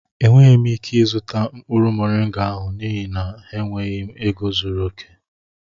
Enweghị m ike ịzụta mkpụrụ moringa ahụ n'ihi na enweghị m ego zuru oke